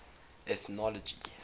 ethnological